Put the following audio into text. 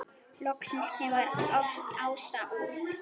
Loksins kemur Ása út.